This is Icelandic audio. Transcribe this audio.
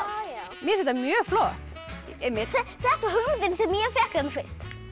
mér finnst þetta mjög flott þetta er hugmynd sem ég fékk fyrst